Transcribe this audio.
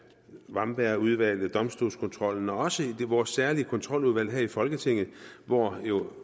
wambergudvalget domstolskontrollen og også vores særlige kontroludvalg her i folketinget hvor vi jo